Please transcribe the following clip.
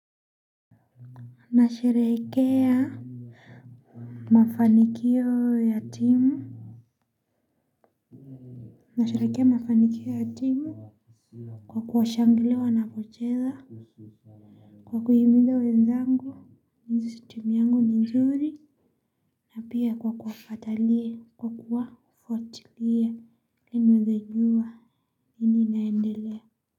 Nasherehekea mafanikio ya timu. Nasherehekea mafanikio ya timu kwa kuwashangilia wanapocheza. Kwa kuhimiza wenzangu jinsi timu yangu ni nzuri na pia kwa kwa kuwafuatilia ili niwezejua nini inaendelea.